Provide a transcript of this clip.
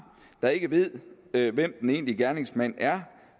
der ikke ved ved hvem den egentlige gerningsmand er